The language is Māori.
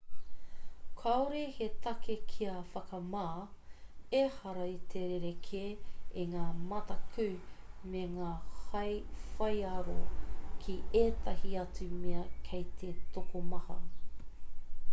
kāore he take kia whakamā ehara i te rerekē i ngā mataku me ngā hae whaiaro ki ētahi atu mea kei te tokomaha